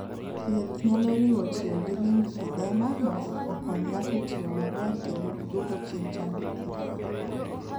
Thieth nyalo riwo tiyo gi lymphedema mondo okony ng'ato tiyo maber kendo duoko chien chandruok ma en - go.